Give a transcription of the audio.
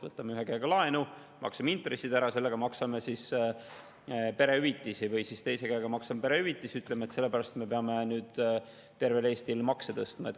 võtame ühe käega laenu, maksame intressid ära, sellega maksame perehüvitisi ja ütleme, et sellepärast me peame nüüd tervel Eestil makse tõstma.